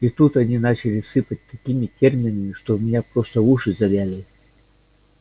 и тут они начали сыпать такими терминами что у меня просто уши завяли